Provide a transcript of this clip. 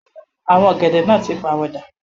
Àwọn ọ̀gẹ̀dẹ̀ náà tí pàwọ̀ dà.